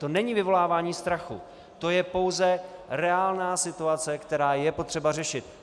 To není vyvolávání strachu, to je pouze reálná situace, která je potřeba řešit.